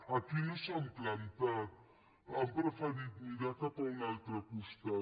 aquí no s’han plantat han preferit mirar cap a un altre costat